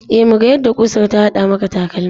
E, muga yadda ƙusar ta huda maka takalmin.